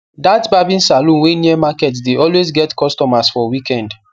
that barbing salon wey near market dey always get customers for weekend